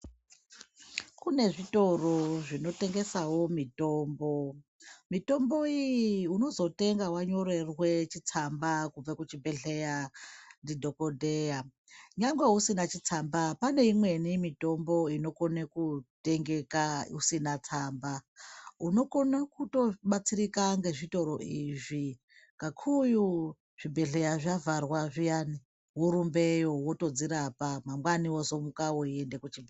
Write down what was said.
Kune zvitoro zvinotengesawo mitombo ,mitombo iyi unozotenga wanyorerwe chitsamba kubve kuchibhehleya ndidhokodheya nyangwe usina chitsamba pane imweni mitombo inokone kutengeka usina tsamba unokone kutobatsirika ngezvitoro izvi kakurutu zvibhehleya zvavharwa zviyani worumbeyo wotodzirapa mangwani wozomuka weiende kuchibhehleya.